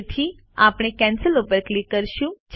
તેથી આપણે કેન્સલ ઉપર ક્લિક કરીશું